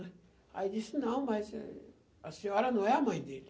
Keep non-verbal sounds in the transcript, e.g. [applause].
[unintelligible] Aí disse, não, mas a senhora não é a mãe dele.